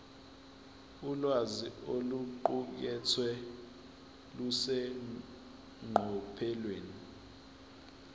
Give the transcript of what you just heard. ulwazi oluqukethwe luseqophelweni